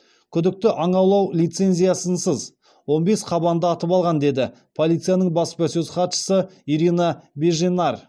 күдікті аң аулау лицензиясынсыз он бес қабанды атып алған деді полицияның баспасөз хатшысы ирина беженар